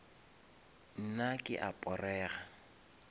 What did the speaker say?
nna ke a porega